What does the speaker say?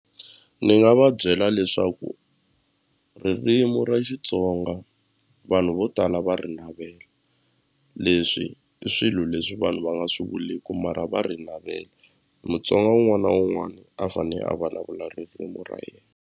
Ni nga va byela leswaku ririmu ra Xitsonga vanhu vo tala va ri navela leswi i swilo leswi vanhu va nga swi vuleku mara va ri navela Mutsonga wun'wana na wun'wana a fanele a vulavula ririmi ra yena.